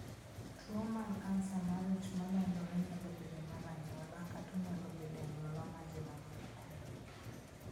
Tuwo mar kansa mar ich ma landore nyalo bedo mar anyuola, kata onyalo bedo e anyuola ma ji mang'eny ok ong'eyo.